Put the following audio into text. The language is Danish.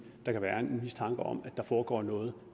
der kan være mistanke om at der foregår noget